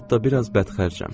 Hətta biraz bədxərcəm.